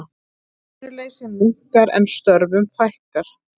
Atvinnuleysi minnkar en störfum fækkar